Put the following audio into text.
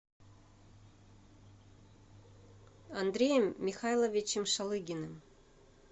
андреем михайловичем шалыгиным